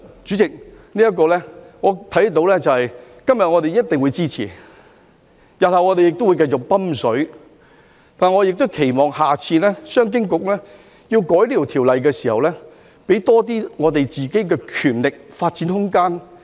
主席，其實我看到，我們今天一定會支持，我們日後會繼續"揼水"，但我期望商經局下次修改這項條例時，可以給自己多些權力和發展空間。